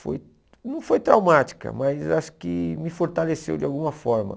Foi não foi traumática, mas acho que me fortaleceu de alguma forma.